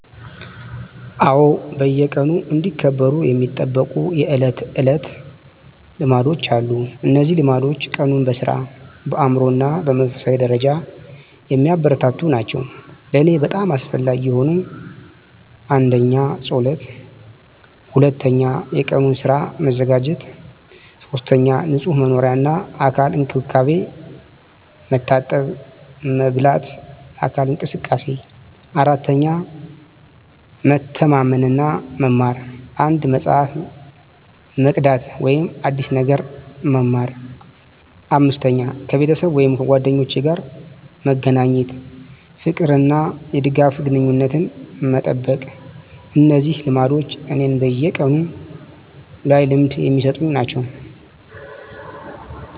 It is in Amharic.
አዎ፣ በየቀኑ እንዲከበሩ የሚጠበቁ የዕለት ተዕለት ልማዶች አሉ። እነዚህ ልማዶች ቀኑን በሥራ፣ በአእምሮ እና በመንፈሳዊ ደረጃ የሚያበረታቱ ናቸው። ለእኔ በጣም አስፈላጊ የሆኑት: 1. ጸሎት 2. የቀኑን ሥራ መዘጋጀት 3. ንጹህ መኖሪያ እና የአካል እንክብካቤ፣ መታጠብ፣ መበላት፣ አካል እንቅስቃሴ። 4. መተማመን እና መማር፣ አንድ መጽሐፍ መቅዳት ወይም አዲስ ነገር መማር። 5. ከቤተሰብ ወይም ጓደኞች ጋር መገናኘት፣ የፍቅር እና የድጋፍ ግንኙነትን መጠበቅ። እነዚህ ልማዶች እኔን በቀኑ ላይ ልምድ የሚሰጡ ናቸው።